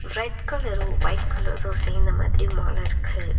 Red colour white colour சேந்த மாதிரி மால இருக்கு.